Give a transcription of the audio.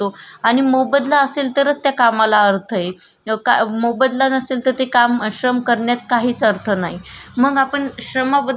मग आपण श्रमा बदल विचार केला त श्रम करण्याचे वेगवगडे प्रकार आहे त. म्हणजे आता शाडेतले लो अ शाडेतले मुलजे काम करतात.